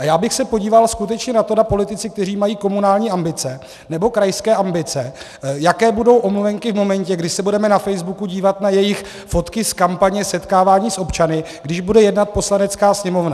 A já bych se podíval skutečně na to, zda politici, kteří mají komunální ambice nebo krajské ambice, jaké budou omluvenky v momentě, kdy se budeme na facebooku dívat na jejich fotky z kampaně setkávání s občany, když bude jednat Poslanecká sněmovna.